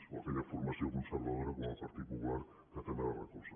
o aquella formació conservadora com el partit popular que també el recolza